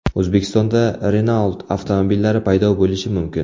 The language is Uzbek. O‘zbekistonda Renault avtomobillari paydo bo‘lishi mumkin.